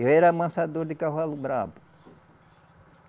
Eu era amansador de cavalo bravo.